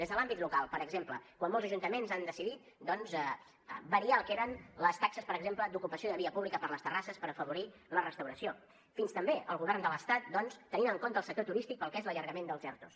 des de l’àmbit local per exemple quan molts ajuntaments han decidit doncs variar el que eren les taxes per exemple d’ocupació de via pública per a les terrasses per afavorir la restauració fins també el govern de l’estat que ha tingut en compte el sector turístic pel que fa a l’allargament dels erto